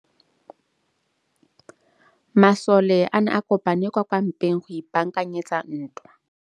Masole a ne a kopane kwa kampeng go ipaakanyetsa ntwa.